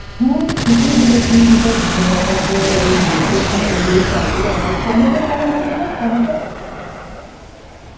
হ্যাঁ তু ঠিকই বলেছিস, দেখ ধনেপাতা তো ওদের গ্রীষ্মের জন্য ওগুলোই চাষগুলো হয়, টমেটো কেমন হতো রে, টমেটো?